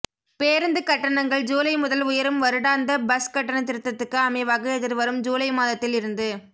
பேருந்துக் கட்டணங்கள் ஜூலை முதல் உயரும்வருடாந்த பஸ் கட்டண திருத்தத்துக்கு அமைவாக எதிர்வரும் ஜூலை மாதத்தில் இருந்து